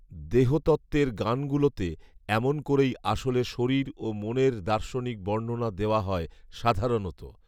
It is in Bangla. দেহতত্ত্বের গানগুলোতে এমন করেই আসলে শরীর ও মনের দার্শনিক বর্ণণা দেওয়া হয় সাধারণত